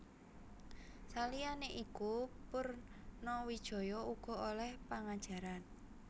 Saliyané iku Purnawijaya uga olèh pangajaran